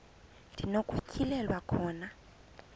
ndi nokutyhilelwa khona